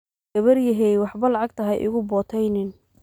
Gawaryahee, waxbo lacagta haikuboteynin.